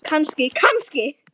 Kannski, kannski!